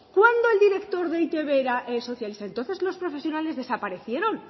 cuando el director de e i te be era socialista entonces los profesionales desaparecieron